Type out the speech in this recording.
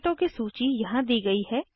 टिकिटों की सूची यहाँ दी गयी है